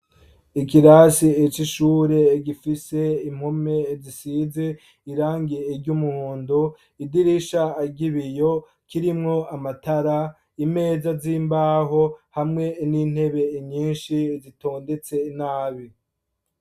Igirasi eco ishure gifise impome zisize irangiye iryo umuhondo idirisha agibiyo kirimwo amatara imeza z'imbaho hamwe n'intebe inyinshi zitondetse nabi.